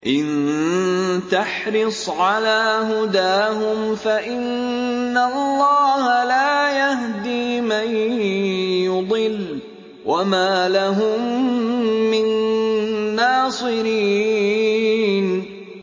إِن تَحْرِصْ عَلَىٰ هُدَاهُمْ فَإِنَّ اللَّهَ لَا يَهْدِي مَن يُضِلُّ ۖ وَمَا لَهُم مِّن نَّاصِرِينَ